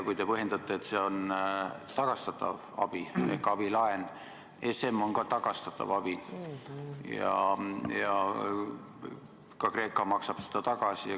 Kui te põhjendate, et see on tagastatav abi ehk abilaen, siis ESM on ka tagastatav abi ja ka Kreeka maksab seda tagasi.